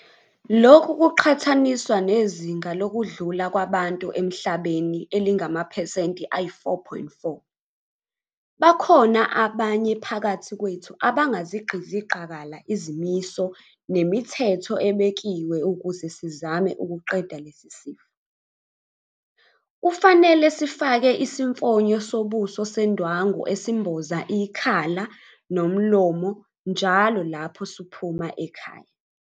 Lokhu kuqhathaniswa nezinga lokudlula kwabantu emhlabeni elingamaphesenti ayi-4.4. Bakhona abanye phakathi kwethu abangazigqizi qakala izimiso nemithetho ebekiwe ukuze sizame ukuqeda lesi sifo. Kufanele sifake isimfonyo sobuso sendwangu esimboza ikhala nomlomo njalo lapho siphuma emakhaya ethu.